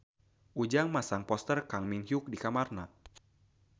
Ujang masang poster Kang Min Hyuk di kamarna